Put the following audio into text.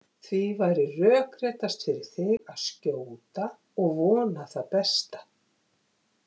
Því væri rökréttast fyrir þig að skjóta og vona það besta.